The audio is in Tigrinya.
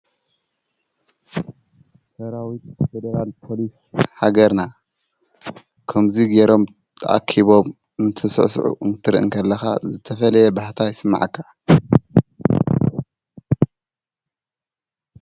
ሰራዊት ፈደራል ኮሊስ ሃገርና ከምዙይ ገይሮም ኣኪቦም እንተስሕስዑ እንትርኢ እንከለኻ ዘተፈልየ ባኅታይ ስመዐካ::